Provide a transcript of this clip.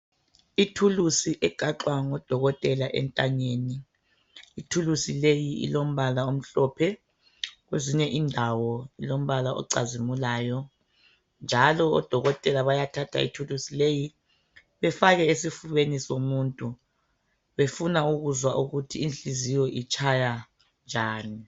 Ithuluzi egaxwa ngudokotela entanyeni ithuluzi leli ilombala omhlophe kwezinye indawo lombala ocazimulayo njalo odokotela bayathatha ithuluzi leyi bafake esifubeni somuntu bafuna ukuzwa ukuthi inhliziyo itshaya njani.